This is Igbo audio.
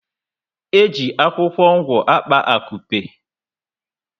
Eji akwụkwọ ngwo akpa akupe